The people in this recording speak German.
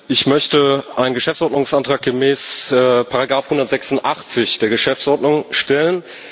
Ich möchte einen Geschäftsordnungsantrag gemäß Artikel 186 der Geschäftsordnung stellen.